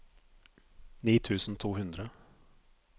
ni tusen to hundre